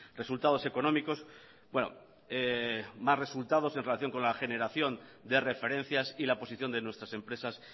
resultados económicos más resultados en relación con la generación de referencias y la posición de nuestras empresas